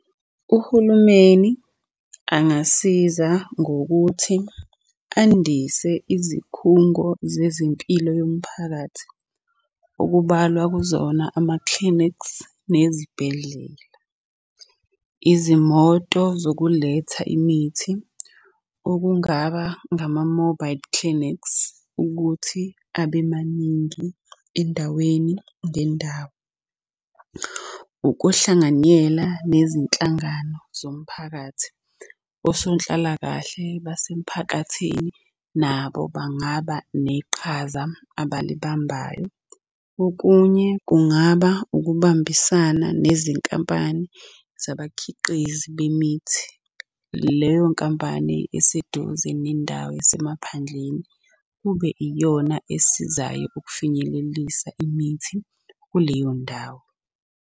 Uhulumeni angasiza ngokuthi andise izikhungo zezempilo yomphakathi, okubalwa kuzona ama-clinics, nezibhedlela. Izimoto zokuletha imithi okungaba ngama-mobile clinics, ukuthi abe maningi endaweni ngendawo. Ukuhlanganyela nezinhlangano zomphakathi. Osonhlalakahle basemphakathini nabo bangaba neqhaza abalibambayo. Okunye kungaba ukubambisana nezinkampani zabakhiqizi bemithi. Leyo nkampani eseduze nendawo yasemaphandleni kube iyona esizayo ukufinyelelisa imithi kuleyo ndawo.